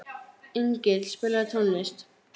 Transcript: Engill, spilaðu tónlist.